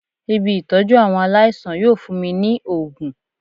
Ibi Ìtọ́jú àwọn aláìsàn yóò fún mi ní ògùn.